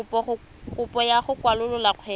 kopo ya go kwalolola kgwebo